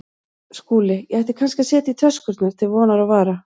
SKÚLI: Ég ætti kannski að setja í töskurnar til vonar og vara.